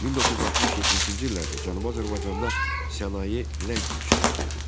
1960-70-ci illərdə Cənubi Azərbaycanda sənaye ləng inkişaf edirdi.